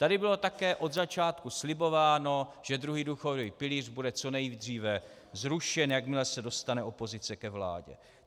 Tady bylo také od začátku slibováno, že druhý důchodový pilíř bude co nejdříve zrušen, jakmile se dostane opozice ke vládě.